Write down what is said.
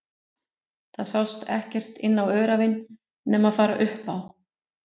Og það sást ekkert inn á öræfin nema fara upp á